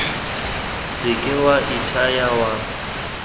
se ke wa ithaya wa